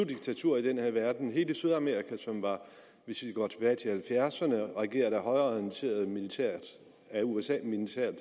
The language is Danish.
diktaturer i den her verden hele sydamerika som hvis vi går tilbage til nitten halvfjerdserne var regeret af højreorienterede af usa